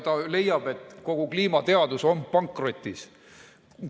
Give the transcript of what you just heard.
Ta leiab, et kogu kliimateadus on pankrotis.